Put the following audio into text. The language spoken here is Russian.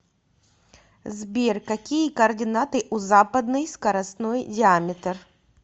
сбер какие координаты у западный скоростной диаметр